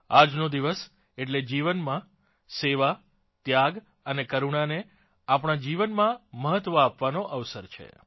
આજનો દિવસ એટલે જીવનમાં સેવા ત્યાગ અને કરુણાને આપણાં જીવનમાં મહત્વ આપવાનો અવસર છે